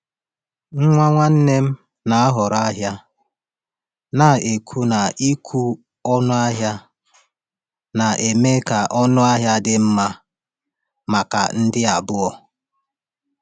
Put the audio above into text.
Nwa nwanne m na-ahọrọ ahịa, na-ekwu na ịkwụ ọnụ ahịa na-eme ka ọnụ ahịa dị mma maka ndị abụọ.